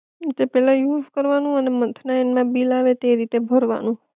ઈ તે પેલા યુઝ કરવાનું અને મંથના એન્ડ માં બિલ આવે તે રીતે ભરવાનું